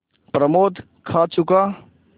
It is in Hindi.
प्रमोद खा चुका